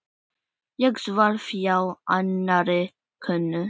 Ég svaf hjá annarri konu.